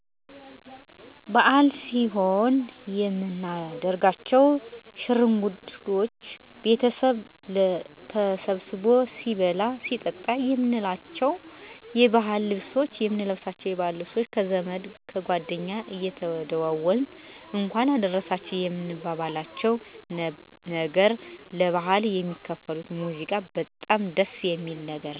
በዓል ሲኖን የምናደርጋቸው ሸርጉዶች፣ ቤተሰብ ተሰብስቦ ሲበላ ሲጠጣ፣ የምንለብሳቸው የዓል ልብሶች፣ ከዘመድ ከጓደኛ ጋር እየተደዋወልነ እንኳን አደርረሰችሁ የምንባባልነው ነገር፣ ለበዓል የሚከፈቱት ሙዚቃ በጣም ደስ የሚል ስሜት አለው።